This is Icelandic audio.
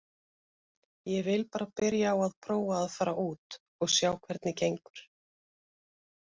Ég vil bara byrja á að prófa að fara út og sjá hvernig gengur.